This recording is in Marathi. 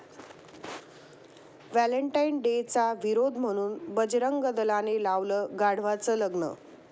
व्हॅलेंटाईन डे'चा विरोध म्हणून बजरंग दलाने लावलं गाढवाचं लग्न!